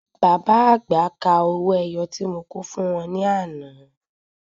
Bàbá àgbà kà owó ẹyọ tí mo kò fún wọn ní àná.